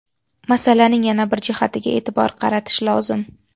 Masalaning yana bir jihatiga e’tibor qaratish lozim.